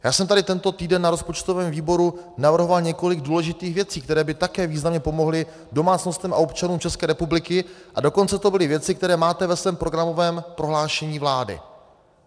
Já jsem tady tento týden na rozpočtovém výboru navrhoval několik důležitých věcí, které by také významně pomohly domácnostem a občanům České republiky, a dokonce to byly věci, které máte ve svém programovém prohlášení vlády.